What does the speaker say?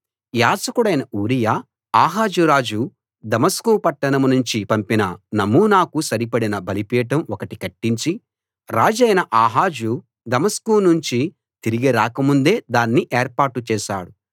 యాజకుడైన ఊరియా ఆహాజు రాజు దమస్కు పట్టణం నుంచి పంపిన నమూనాకు సరిపడిన బలిపీఠం ఒకటి కట్టించి రాజైన ఆహాజు దమస్కు నుంచి తిరిగి రాకముందే దాన్ని ఏర్పాటు చేశాడు